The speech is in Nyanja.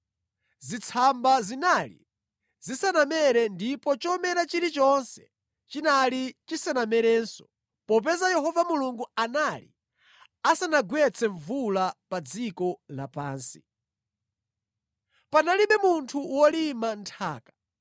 zitsamba zinali zisanamere ndipo chomera chilichonse chinali chisanamerenso popeza Yehova Mulungu anali asanagwetse mvula pa dziko lapansi. Panalibe munthu wolima nthaka,